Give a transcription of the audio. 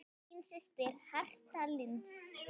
Þín systir, Hertha Lind.